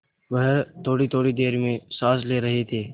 वह थोड़ीथोड़ी देर में साँस ले रहे थे